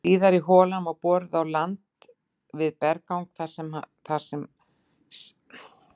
Síðari holan var boruð á landi við berggang sem þar sést.